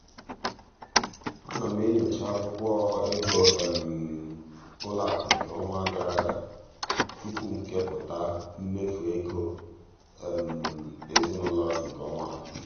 ana m enyocha akwụkwọ ego ụlọakụ nke ọnwa gara aga tupu m kepụta mmefu ego ezinụụlọ nke ọnwa a.